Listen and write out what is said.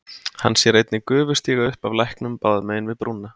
Hann sér einnig gufu stíga upp af læknum báðum megin við brúna.